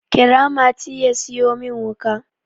kira mati ya siyo min wuka!